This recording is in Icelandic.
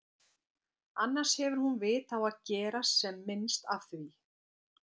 Annars hefur hún vit á að gera sem minnst af því.